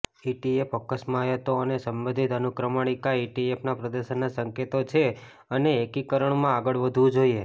ETF અસ્કયામતો અને સંબંધિત અનુક્રમણિકા ઇટીએફના પ્રદર્શનના સંકેતો છે અને એકીકરણમાં આગળ વધવું જોઈએ